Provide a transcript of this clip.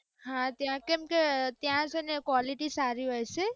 હા ત્યાં કેમકે ત્યાં છે ને ક્વોલિટી સારી હોય છે.